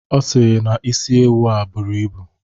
Ọ sịrị na isi ewu a buru ibu